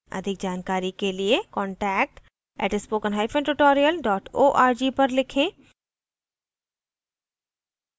अधिक जानकारी के लिए contact @spoken hyphen tutorial dot org पर लिखें